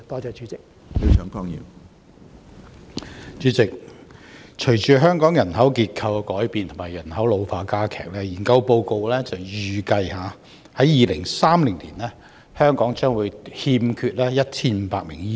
主席，隨着香港人口結構改變及人口老化加劇，有研究報告預計，在2030年，香港將欠缺1500名醫生。